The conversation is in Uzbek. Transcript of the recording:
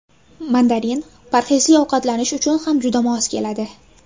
Mandarin parhezli ovqatlanish uchun ham juda mos keladi.